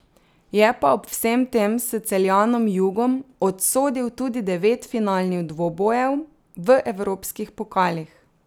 Je pa ob vsem tem s Celjanom Jugom odsodil tudi devet finalnih dvobojev v evropskih pokalih.